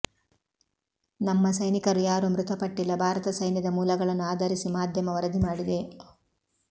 ನಮ್ಮ ಸೈನಿಕರು ಯಾರೂ ಮೃತಪಟ್ಟಿಲ್ಲ ಭಾರತ ಸೈನ್ಯದ ಮೂಲಗಳನ್ನು ಆಧಾರಿಸಿ ಮಾಧ್ಯಮ ವರದಿ ಮಾಡಿದೆ